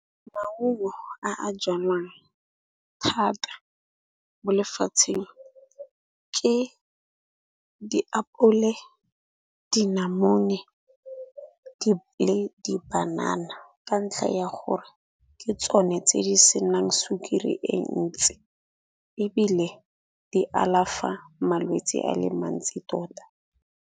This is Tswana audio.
Maungo a a jalwang thata mo lefatsheng, ke ditapole, dinamone le di banana. Ka ntlha ya gore ke tsone tse di senang sukiri e ntsi ebile di alafa malwetsi a le mantsi tota.